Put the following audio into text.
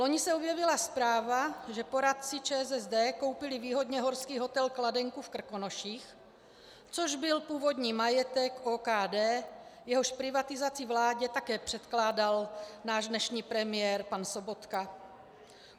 Loni se objevila zpráva, že poradci ČSSD koupili výhodně horský hotel Kladenka v Krkonoších, což byl původní majetek OKD, jehož privatizaci vládě také předkládal náš dnešní premiér pan Sobotka.